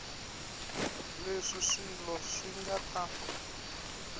leswi swilo swi nga ta